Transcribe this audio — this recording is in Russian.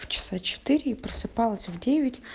час в четыре и просыпалась в девять